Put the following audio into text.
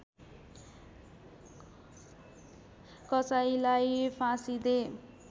कसाहीलाई फाँसी दे